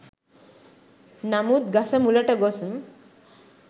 නමුත් ගස මුලට ගොස්